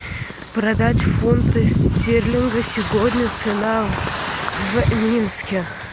продать фунты стерлинга сегодня цена в минске